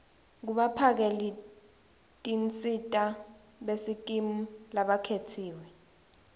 kubaphakelitinsita besikimu labakhetsiwe